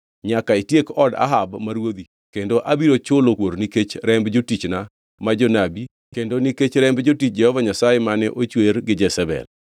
Nyaka itiek od Ahab ma ruodhi, kendo abiro chulo kuor nikech remb jotichna ma jonabi kendo nikech remb jotich Jehova Nyasaye mane ochwer gi Jezebel.